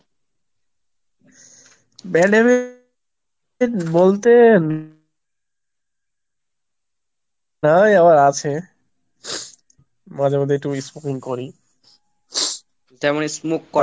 bad habit বলতে নাই আবার আছে, মাঝে মধ্যে একটু smoke করি, তেমনি smoke করা,